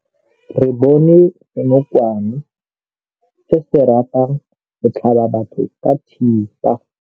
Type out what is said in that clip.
Re bone senokwane se se ratang go tlhaba batho ka thipa.